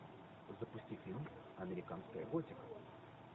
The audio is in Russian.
запусти фильм американская готика